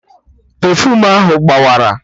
Pefuum ahụ gbawara